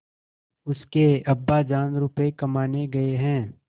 उसके अब्बाजान रुपये कमाने गए हैं